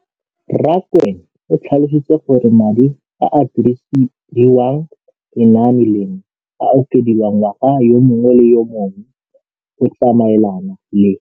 Rakwena o tlhalositse gore madi a a dirisediwang lenaane leno a okediwa ngwaga yo mongwe le yo mongwe go tsamaelana le